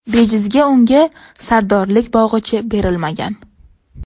Bejizga unga sardorlik bog‘ichi berilmagan.